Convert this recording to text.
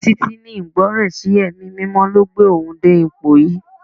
Títí ní Ìgbọràn sí ẹ̀mí mímọ́ ló gbé òun dé ipò yìí.